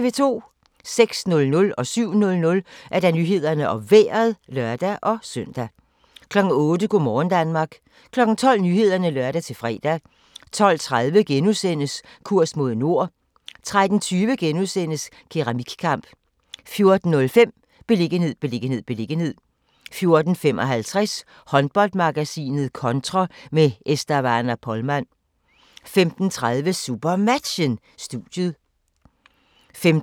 06:00: Nyhederne og Vejret (lør-søn) 07:00: Nyhederne og Vejret (lør-søn) 08:00: Go' morgen Danmark 12:00: Nyhederne (lør-fre) 12:30: Kurs mod nord * 13:20: Keramikkamp * 14:05: Beliggenhed, beliggenhed, beliggenhed 14:55: Håndboldmagasinet Kontra med Estavana Polman 15:30: SuperMatchen: Studiet 15:55: SuperMatchen: Team Esbjerg - Herning-Ikast (k)